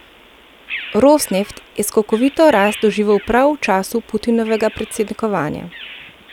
Rosneft je skokovito rast doživel prav v času Putinovega predsednikovanja.